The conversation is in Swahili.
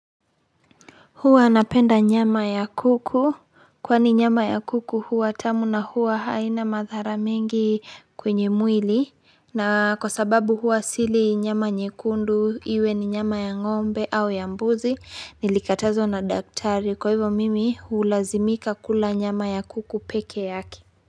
Huwa napenda nyama ya kuku kwa ni nyama ya kuku huwa tamu na huwa haina madhara mengi kwenye mwili na kwa sababu huwa sili nyama nyekundu iwe ni nyama ya ngombe au ya mbuzi nilikatazwa na daktari kwa hivo mimi ulazimika kula nyama ya kuku peke yake.